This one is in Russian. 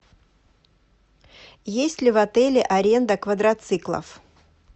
есть ли в отеле аренда квадроциклов